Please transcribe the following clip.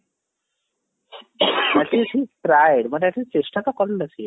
actually he tried ମାନେ at least ଚେଷ୍ଟା ତ କରିଲା ସିଏ